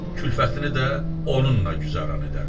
Külfətini də onunla güzəran edərdi.